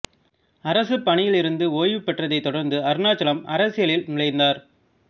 அரசுப் பணியில் இருந்து ஓய்வுபெற்றதைத் தொடர்ந்து அருணாசலம் அரசியலில் நுழைந்தார்